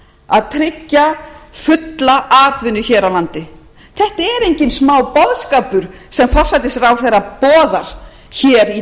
að tryggja fulla atvinnu hér á landi þetta er enginn smáboðskapur sem forsætisráðherra boðar hér í